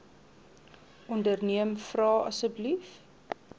onderneem vra asseblief